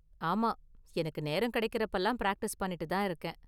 ஆமா, எனக்கு நேரம் கிடைக்குறப்பலாம் பிராக்டிஸ் பண்ணிட்டு தான் இருக்கேன்.